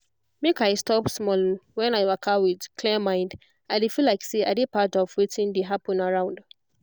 make i stop small when i waka with clear mind i dey feel like say i de part of wetin dey happen around